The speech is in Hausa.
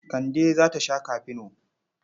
Kande za ta sha kafino.